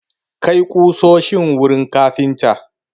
Kai ƙusoshin wurin kafintan!